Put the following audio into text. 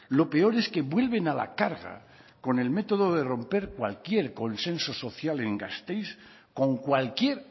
lo peor es que vuelven a la carga con el método de romper cualquier consenso social en gasteiz con cualquier